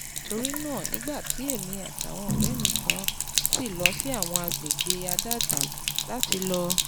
Torí náà, nígbà tí èmi àtàwọn ọ̀rẹ́ mi kan lọ sí lọ sí àwọn àgbègbè àdádó láti lọ